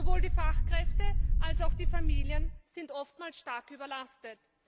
Sowohl die Fachkräfte als auch die Familien sind oftmals stark überlastet.